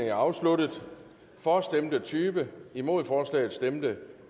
er afsluttet for stemte tyve imod stemte